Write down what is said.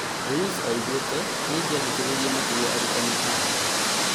Ruiz oigĩte "nĩingĩa thikĩrĩirie makĩria arutani akwa"